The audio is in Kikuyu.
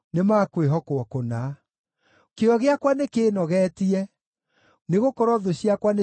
Kĩyo gĩakwa nĩkĩĩnogetie, nĩgũkorwo thũ ciakwa nĩcitiganĩirie ciugo ciaku.